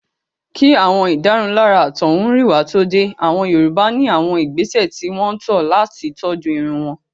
Kí àwọn ìdárunlárà àtọ̀húnrìnwá tó dé. Àwọn Yorùbá ní àwọn ìgbésẹ̀ tí wọ́n tọ́ ọ̀ làti tọ́jú irun wọn.